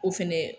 O fɛnɛ